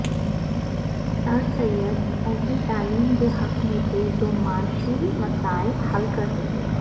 سر سید ایسی تعلیم کے حق میں تھے جو معاشی مسائل حل کر سکے